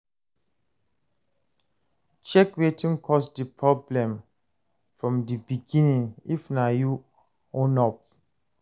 Check wetin cause di problem from di begining, if na you own up